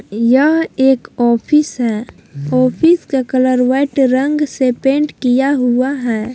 यह एक ऑफिस है ऑफिस का कलर वाइट रंग से पेंट किया हुआ है।